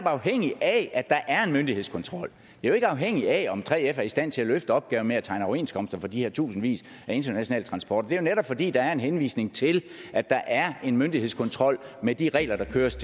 afhængige af at der er en myndighedskontrol det jo ikke afhængigt af om 3f er i stand til at løfte opgaven med at tegne overenskomster for de her tusindvis af internationale transporter netop fordi der er en henvisning til at der er en myndighedskontrol med de regler der køres